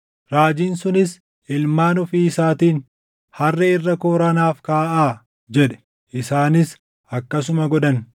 Raajiin sunis ilmaan ofii isaatiin, “Harree irra kooraa naaf kaaʼaa” jedhe; isaanis akkasuma godhan.